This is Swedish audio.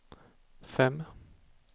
fem